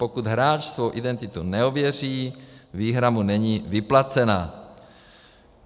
Pokud hráč svou identitu neověří, výhra mu není vyplacena.